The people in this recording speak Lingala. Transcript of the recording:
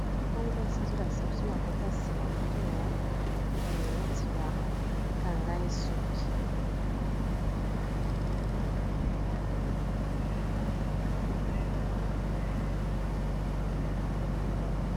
Oyo mwasi, azolakisa biso na kote ya nsima mutu na ye, neti bakanga ye soki.